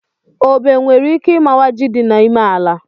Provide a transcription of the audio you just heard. Obi nwere ike imawa ji dị n'ime ala